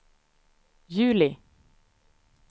juli